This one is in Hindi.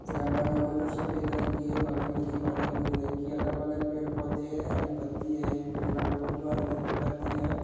घर बना हुआ है जो सफ़ेद रंग की है बगल में दीवार है भूरे रंग की अगल-बगल पेड़ पौधे है हरी पत्तिया है एक पेड़ लगा हुआ है जो हरे रंग की पत्ति है।